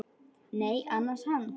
Nei, ansar hann.